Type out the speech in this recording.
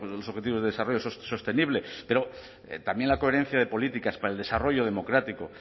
los objetivos de desarrollo sostenible pero también la coherencia de políticas para el desarrollo democrático